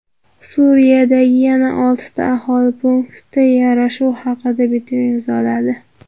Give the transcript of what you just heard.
Suriyadagi yana oltita aholi punkti yarashuv haqida bitim imzoladi.